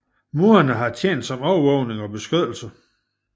Murene har tjent som overvågning og beskyttelse